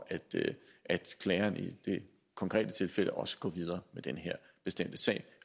at klageren i det konkrete tilfælde også går videre med den her bestemte sag